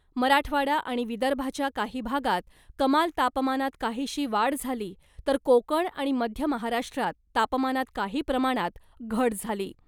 मराठवाडा आणि विदर्भाच्या काही भागात कमाल तापमानात काहीशी वाढ झाली तर कोकण आणि मध्य महाराष्ट्रात तापमानात काही प्रमाणात घट झाली .